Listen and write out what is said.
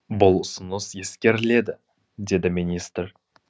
бұл ұсыныс ескеріледі деді министр